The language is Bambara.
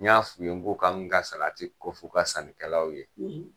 N y'a f'i ye n ko ka n ka salati kɔf'u ka sannikɛlaw ye.